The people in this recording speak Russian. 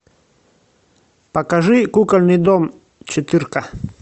покажи кукольный дом четырка